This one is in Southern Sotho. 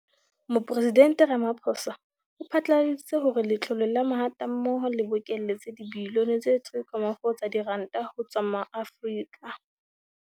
Mopresidente Ramaphosa o phatlaladitse hore Letlole la Mahatammoho le bokeletse dibilione tse 3.4 tsa diranta ho tswa ho Maafrika